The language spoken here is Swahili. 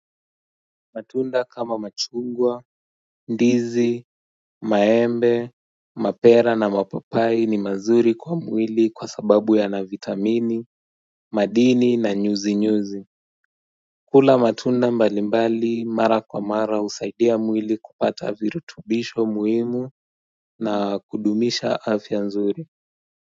Matunda kama machungwa, ndizi, maembe, mapera na mapapai ni mazuri kwa mwili kwa sababu yana vitamini, madini na nyuzi-nyuzi kula matunda mbalimbali mara kwa mara husaidia mwili kupata virutubisho muhimu na kudumisha afya nzuri.